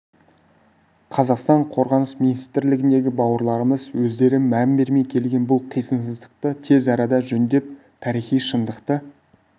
қазақстан қорғаныс министрлігіндегі бауырларымыз өздері мән бермей келген бұл қисынсыздықты тез арада жөндеп тарихи шындықты